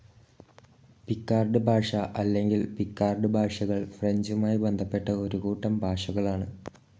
Picard ഭാഷ അല്ലെങ്കിൽ Picard ഭാഷകൾ ഫ്രഞ്ചുമായി ബന്ധപ്പെട്ട ഒരു കൂട്ടം ഭാഷകളാണ്.